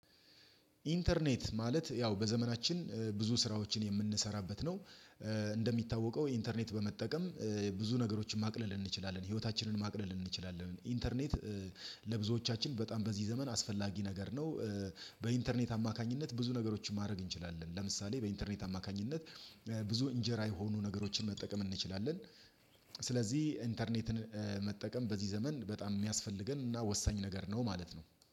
ኢንተርኔት ማለት ያው በዘመናችን ብዙ ስራዎችን የምንሰራበት ነው። እንደሚታወቀው ኢንተርኔት በመጠቀም ብዙ ነገሮችን ማቅለል እንችላለን፤ ህይወታችንን ማቅለል እንችላለን። ኢንተርኔት ለብዙዎቻችን በጣም በዚህ ዘመን አስፈላጊ ነገር ነው። በኢንተርኔት አማካኝነት ብዙ ነገሮችን ማድረግ እንችላለን። ለምሳሌ በኢንተርኔት አማካኝነት ብዙ እንጀራ የሆኑ ነገሮችን መጠቀም እንችላለን። ስለዚህ ኢንተርኔትን መጠቀም በዚህ ዘመን በጣም የሚያስፈልገን እና ወሳኝ ነገር ነው ማለት ነው።